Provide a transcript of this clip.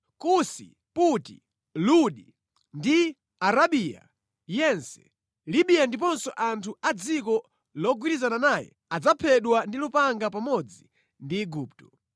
Kusi, Puti, Ludi ndi Arabiya yense, Libiya ndiponso anthu a mʼdziko logwirizana naye adzaphedwa ndi lupanga pamodzi ndi Igupto.